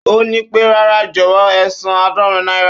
Ó nípé, rárá jọ̀wọ́ ẹsan àádorin náírà